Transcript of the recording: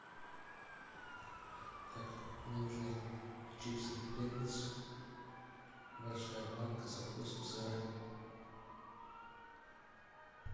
так мне нужны чипсы принглс большая банка со вкусом сыра